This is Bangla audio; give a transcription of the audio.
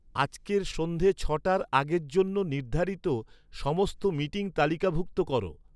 আজকের সন্ধ্যে ছটার আগের জন্য নির্ধারিত সমস্ত মিটিং তালিকাভুক্ত করো